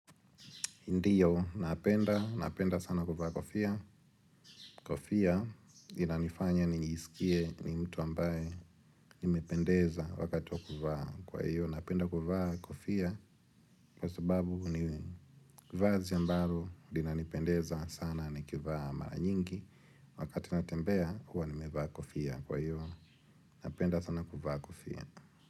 Ndiyo, napenda, napenda sana kuvaa kofia. Kofia inanifanya nijisikie mtu ambaye nimependeza wakati wa kuvaa kwa hivyo napenda kuvaa kofia kwa sababu ni vazi ambalo linanipendeza nikivaa mara mingi. Wakati natembea, huwa nimevaa kofia kwa hiyo. Napenda sana kuvaa kofia.